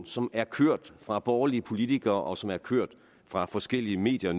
som er kørt fra borgerlige politikere og som nu er kørt fra forskellige medier